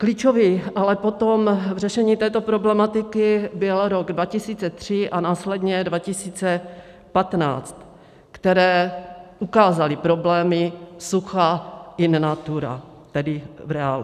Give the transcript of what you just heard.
Klíčový ale potom k řešení této problematiky byl rok 2003 a následně 2015, které ukázaly problémy sucha in natura, tedy v reálu.